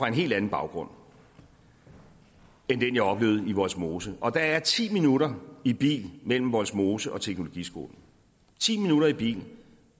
en helt anden baggrund end den jeg oplevede i vollsmose og der er ti minutter i bil mellem vollsmose og teknologiskolen ti minutter i bil